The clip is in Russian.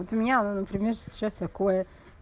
вот у меня например сейчас такое